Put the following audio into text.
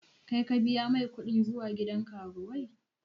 Kai ka biya mai kuɗin zuwa gidan karuwai?